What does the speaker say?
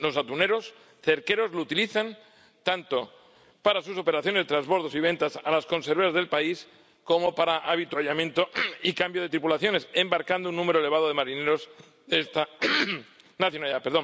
Los atuneros cerqueros lo utilizan tanto para sus operaciones de transbordos y ventas a las conserveras del país como para avituallamiento y cambio de tripulaciones, embarcando un número elevado de marineros de esta nacionalidad.